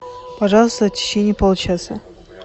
пожалуйста в течение получаса